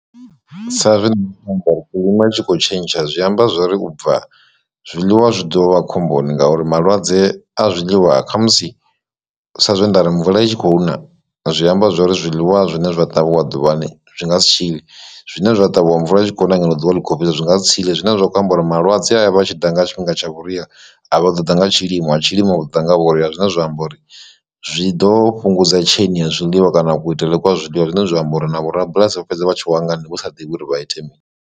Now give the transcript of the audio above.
Sa zwe kilima itshi kho tshentsha zwi amba zwori ubva zwiḽiwa zwi ḓovha khomboni ngauri malwadze a zwiḽiwa kha musi sa zwe ndari mvula i tshi khou na zwi amba zwori zwiḽiwa zwine zwa ṱavhiwa ḓuvhani zwi nga si tshile, zwine zwa ṱavhiwa mvula a tshi khou ṋa ngeno ḓuvha ḽi kho fhisa zwi nga si tshile zwine zwa khou amba uri malwadze a vha tshi ḓa nga tshifhinga tsha vhuria a vha ḓo ḓa nga tshilimo a tshilimo a ḓo ḓa nga vhuria, zwine zwa amba uri zwi ḓo fhungudza chain ya zwiḽiwa kana kuitele kwa zwiḽiwa zwine zwa amba uri na vhorabulasi vha fhedza vha tshi wa nga ni vhu sa ḓivhi uri vha ite mini.